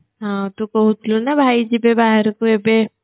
ହଁ ତୁ କହୁଥିଲୁନା ଭାଇ ଯିବେ ବାହାରକୁ ଏବେ